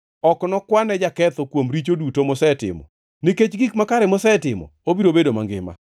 Ok nokwane jaketho kuom richo duto mosetimo. Nikech gik makare mosetimo, obiro bedo mangima.